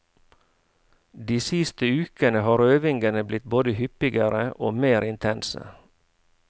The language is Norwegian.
De siste ukene har øvingene blitt både hyppigere og mer intense.